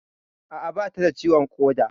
A'a, bata da ciwon ƙoda